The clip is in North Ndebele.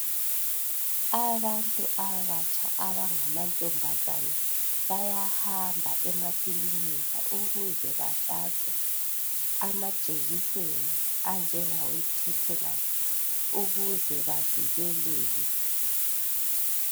Abantu abatsha abanga mantombazane bayahamba emakilika ukuze bahlatshwe amajekiseni anjengawe thethenasi ukuze bavikeleke.